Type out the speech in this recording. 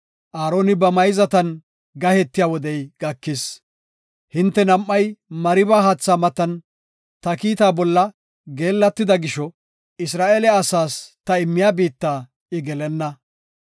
“Aaroni ba mayzatan gahetiya wodey gakis. Hinte nam7ay Mariba haatha matan ta kiitaa bolla geellatida gisho Isra7eele asaas ta immiya biitta I gelenna.